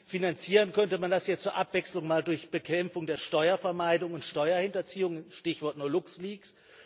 Finanzieren könnte man das ja zur Abwechslung einmal durch Bekämpfung der Steuervermeidung und Steuerhinterziehung Stichwort nur LuxLeaks.